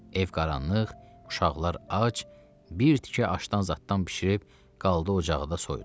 Ev qaranlıq, uşaqlar ac, bir tikə aşdan zaddan bişirib qaldı ocağı da soyudu.